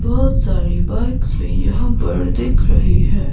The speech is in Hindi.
बहोत सारी बाइक्स भीं यहाँ पर दिख रहीं हैं।